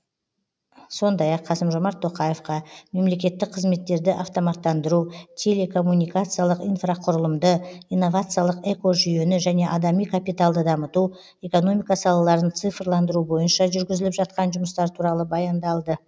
сондай ақ қасым жомарт тоқаевқа мемлекеттік қызметтерді автоматтандыру телекоммуникациялық инфрақұрылымды инновациялық экожүйені және адами капиталды дамыту экономика салаларын цифрландыру бойынша жүргізіліп жатқан жұмыстар туралы баяндалды